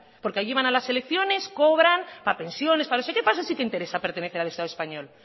porque llevan a las elecciones cobran para pensiones para no sé qué para eso sí que interesa pertenecer al estado español